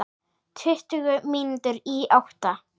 Tuttugu mínútur í átta.